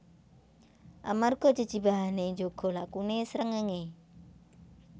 Amarga jejibahane njaga lakune srengenge